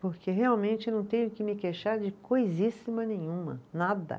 Porque realmente não tenho que me queixar de coisíssima nenhuma, nada.